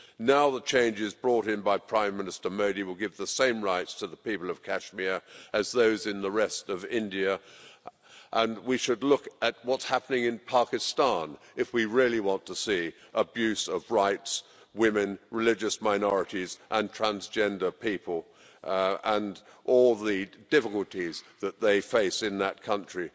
Now the changes brought in by Prime Minister Modi will give the same rights to the people of Kashmir as those in the rest of India, and we should look at what's happening in Pakistan if we really want to see abuse of rights, women, religious minorities and transgender people, and all the difficulties that they face in that country.